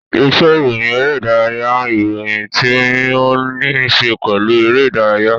Iṣe iroyin ere-idaraya n iroyin ti o ni ṣe pelu ere-idaraya.